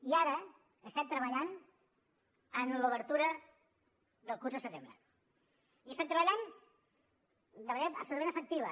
i ara estem treballant en l’obertura del curs al setembre i hi estem treballant de manera absolutament efectiva